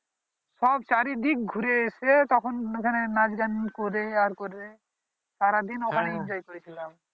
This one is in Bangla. সব চারই দিক ঘুরে এসে তখন এইখানে নাচ গান করে আর করে সারা দিন ওখানে enjoy করেছিলাম